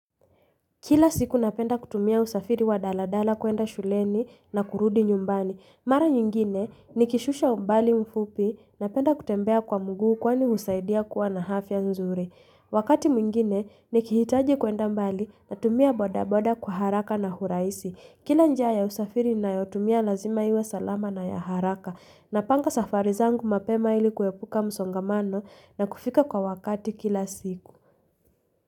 Kila siku napenda kutumia usafiri wa daladala kuenda shuleni na kurudi nyumbani. Mara nyingine nikishusha umbali mfupi napenda kutembea kwa mguu kwani husaidia kuwa na hafya nzuri. Wakati mwingine nikihitaji kuenda mbali natumia boda boda kwa haraka na huraisi. Kila njia ya usafiri nayotumia lazima iwe salama na ya haraka. Napanga safari zangu mapema ili kuepuka msongamano na kufika kwa wakati kila siku.